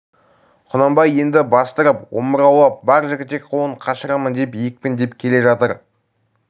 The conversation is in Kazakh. құнанбай енді бастырып омыраулап бар жігітек қолын қашырамын деп екпіндеп келе жатыр